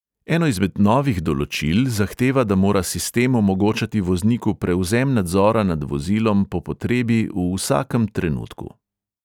Eno izmed novih določil zahteva, da mora sistem omogočati vozniku prevzem nadzora nad vozilom po potrebi v vsakem trenutku.